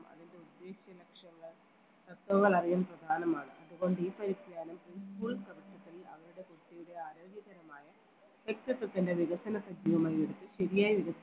അറിയാൻ പ്രധാനമാണ് അതുകൊണ്ട് ഈ പരിജ്ഞാനം school അവരുടെ കുട്ടിയുടെ ആരോഗ്യപരമായ വ്യക്തിത്വത്തിൻറെ വികസന സജീവമായി ശരിയായ വികസനം